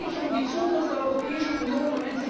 Es geht hier um die Zukunft der Europäischen Union.